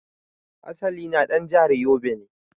Asali na dan jahar yobe ne.